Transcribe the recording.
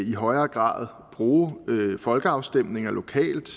i højere grad bruge folkeafstemninger lokalt